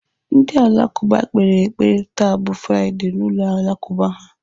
Ndị Alakụba kpere ekpere taa bụ Fraịdee na ụlọ Alakụba ha.